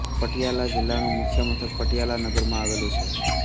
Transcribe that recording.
પટિયાલા જિલ્લાનું મુખ્ય મથક પટિયાલા નગરમાં આવેલું છે